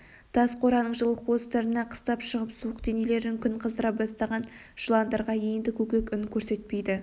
тас қораның жылы қуыстарына қыстап шығып суық денелерін күн қыздыра бастаған жыландарға енді көкек күн көрсетпейді